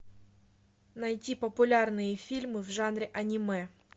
найти популярные фильмы в жанре аниме